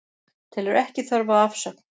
Telur ekki þörf á afsögn